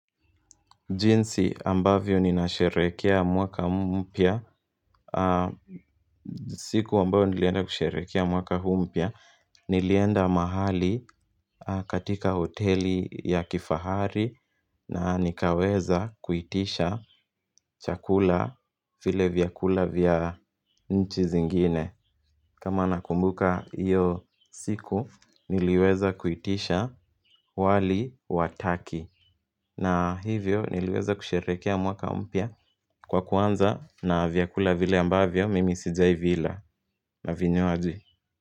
Jinsi ambavyo ninasherekea mwaka mpya siku ambayo nilienda kusherekea mwaka huu mpya Nilienda mahali katika hoteli ya kifahari na nikaweza kuitisha chakula, vile vyakula vya nchi zingine kama nakumbuka hiyo siku niliweza kuitisha wali wa Turkey na hivyo niliweza kusherehekea mwaka mpya kwa kuanza na vyakula vile ambavyo mimi sijai vila na vinywaji.